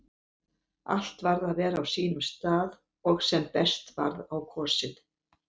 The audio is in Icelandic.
Allt varð að vera á sínum stað og sem best varð á kosið.